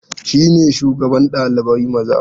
Shi ne shugaban ɗalibai maza?